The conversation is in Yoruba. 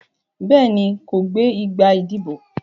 Béèni, kò gbé igbá ìdìbò.